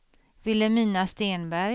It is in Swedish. Vilhelmina Stenberg